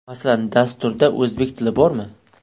Masalan, dasturda o‘zbek tili bormi?